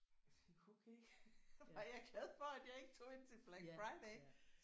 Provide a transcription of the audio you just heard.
Jeg tænkte okay der var jeg glad for at jeg ikke tog ind til Black Friday